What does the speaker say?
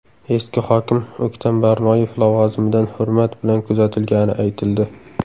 Eski hokim O‘ktam Barnoyev lavozimidan hurmat bilan kuzatilgani aytildi .